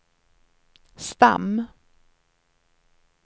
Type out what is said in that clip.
stam